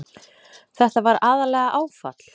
Þetta var aðallega áfall.